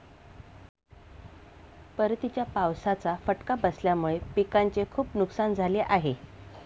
परतीच्या पावसाचा फटका बसल्यामुळे पिकांचे खूप नुकसान झाले आहे.